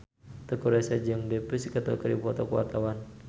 Teuku Rassya jeung The Pussycat Dolls keur dipoto ku wartawan